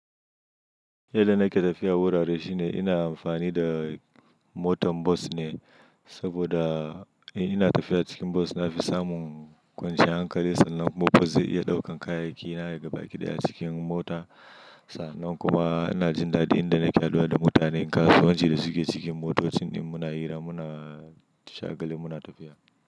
Yadda nake tafiya wurare shine ina amfani da motan bus ne saboda in ina tafiya cikin bus nafi samun kwanciyar hankali sannan kuma bus zai iya ɗaukan kayayyaki na daga baki ɗaya cikin mota. Sannan kuma ina jin dadi inda nake haduwa da mutanen kasuwanci da suke cikin motocin din muna hira muna shagali muna tafiya.